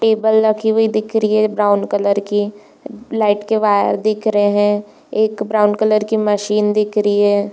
Table रखी हुई दिख रही ब्रॉउन कलर की। लाइट के वायर दिख रहे है। एक ब्रॉउन कलर की मशीन दिख रही है।